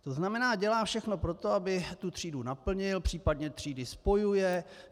To znamená, dělá všechno pro to, aby třídu naplnil, případně třídy spojuje.